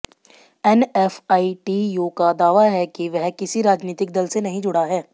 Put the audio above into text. NFITU का दावा है कि वह किसी राजनीतिक दल से नहीं जुड़ा है